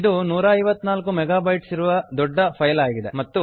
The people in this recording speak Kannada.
ಇದು 154 ಮೆಗಾ ಬೈಟ್ಸ್ ಇರುವ ದೊಡ್ಡ ಫೈಲ್ ಆಗಿದೆ